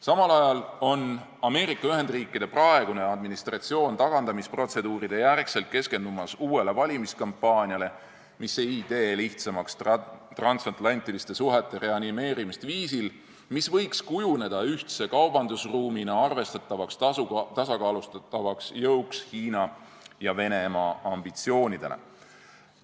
Samal ajal on Ameerika Ühendriikide praegune administratsioon tagandamisprotseduuride järgselt keskendumas uuele valimiskampaaniale, mis ei tee lihtsamaks transatlantiliste suhete reanimeerimist viisil, mis võiks kujuneda ühtse kaubandusruumina arvestatavaks tasakaalustavaks jõuks Hiina ja Venemaa ambitsioonide suhtes.